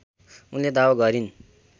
उनले दावा गरिन्